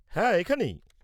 হ্যাঁ, এখানেই।